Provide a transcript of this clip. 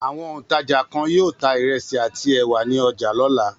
Àwọn òǹtajà kan yóò ta ìrẹsì àti ẹ̀wà ní ọjà lọ́la.